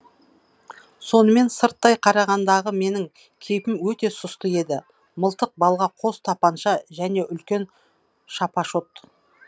сонымен сырттай қарағандағы менің кейпім өте сұсты еді мылтық балға қос тапанша және үлкен шапашот